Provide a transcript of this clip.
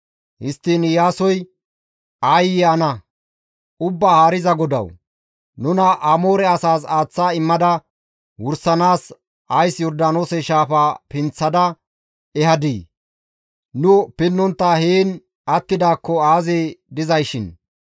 Histtiin Iyaasoy, «Aayye ana! Ubbaa Haariza GODAWU! Nuna Amoore asaas aaththa immada wursisanaas ays Yordaanoose shaafaa pinththada ehadii? Nu pinnontta heen attidaakko aazee dizayshin!